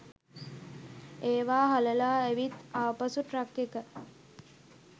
ඒවා හලලා ඇවිත් ආපසු ට්‍රක් එක